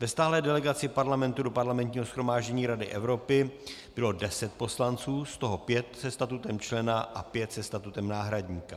Ve stálé delegaci Parlamentu do Parlamentního shromáždění Rady Evropy bylo deset poslanců, z toho pět se statutem člena a pět se statutem náhradníka.